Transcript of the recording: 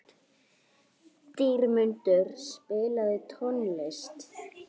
Dýrmundur, spilaðu tónlist.